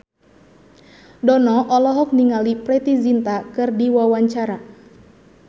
Dono olohok ningali Preity Zinta keur diwawancara